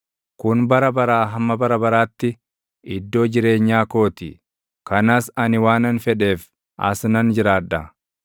“Kun bara baraa hamma bara baraatti iddoo jireenyaa koo ti; kanas ani waanan fedheef, as nan jiraadha.